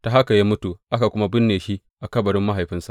Ta haka ya mutu, aka kuma binne shi a kabarin mahaifinsa.